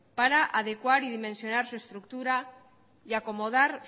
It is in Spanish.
para adecuar y dimensionar su estructura y acomodar